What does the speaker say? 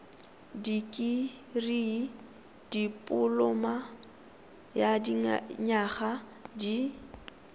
dikirii dipoloma ya dinyaga di